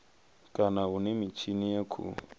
kana hune mitshini ya khou